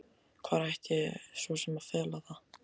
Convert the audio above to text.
Hvar ætti ég svo sem að fela það?